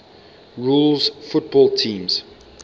rules football teams